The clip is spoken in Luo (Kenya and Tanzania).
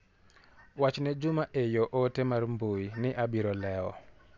wachne Juma e yoo ote mar mbui ni abiro lewo.